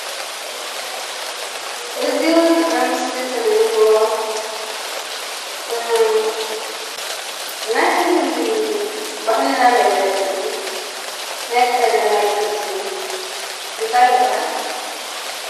እዚ ኣብ ምስሊ ትርእይዎ ናይ ባህልና መግለፂ ናይ ቀደም ናይ ጥንቲ እንታይ ይባሃል?